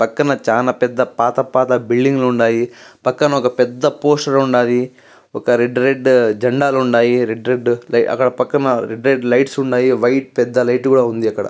పక్కన చానా పెద్దగా పాత పాత బిల్డింగ్ లుండాయి పక్కన ఒక పెద్ద పోస్టర్ ఉండాది ఒక రెడ్ రెడ్ జెండాలు ఉండాయి రెడ్ రెడ్ అక్కడ పక్కన రెడ్ రెడ్ లైట్స్ ఉన్నాయి వైట్ పెద్ద లైట్ కూడా ఉంది అక్కడ.